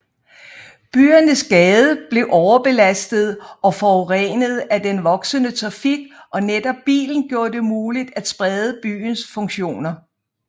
Byernes gader blev overbelastede og forurenede af den voksende trafik og netop bilen gjorde det muligt at sprede byens funktioner